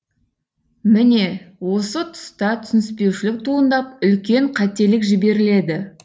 міне осы тұста түсініспеушілік туындап үлкен қателік жіберіледі